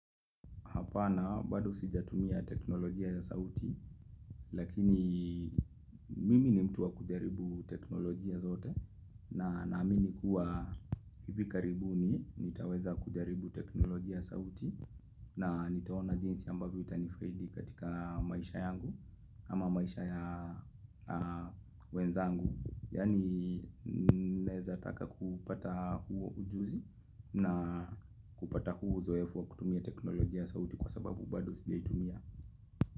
Hapana bado sijatumia teknolojia ya sauti lakini mimi ni mtu wa kujaribu teknolojia zote na naamini kuwa hivi karibuni nitaweza kujaribu teknolojia ya sauti na nitaona jinsi ambavyo itanifaidi katika maisha yangu ama maisha ya wenzangu. Yaani naeza taka kupata huu ujuzi na kupata huo uzoefu wa kutumia teknolojia sauti kwa sababu badulo sijaitumia.